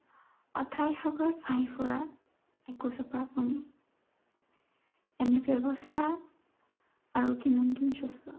অথাই সাগৰত ভাহি ফুৰা, একোজোপা এনে ব্য়ৱস্থা, আৰু কিমান দিন চলিব?